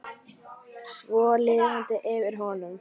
Svo lifnaði yfir honum.